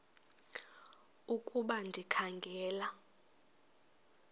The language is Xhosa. ukuba ndikha ngela